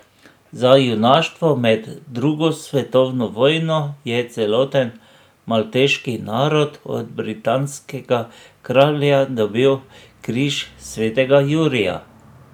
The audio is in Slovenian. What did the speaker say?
Za junaštvo med drugo svetovno vojno je celoten malteški narod od britanskega kralja dobil križ svetega Jurija.